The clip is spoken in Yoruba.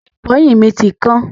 Igi ìfọyín mi ti kan.